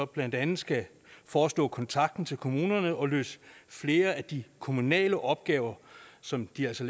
blandt andet skal forestå kontakten til kommunerne og løse flere af de kommunale opgaver som de altså